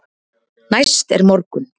Næst er morgunn.